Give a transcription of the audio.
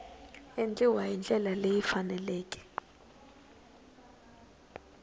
endliwa hi ndlela leyi faneleke